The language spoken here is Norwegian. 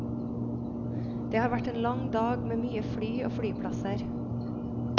Det har vært en lang dag med mye fly og flyplasser.